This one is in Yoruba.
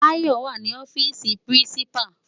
Bayo wá ni òfisi pirinsipá